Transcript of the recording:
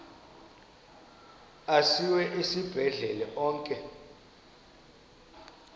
asiwa esibhedlele onke